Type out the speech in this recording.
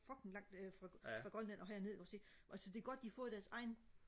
fucking lang øh fra Grønland og herned ikke også ikke altså det er godt de har fået deres egen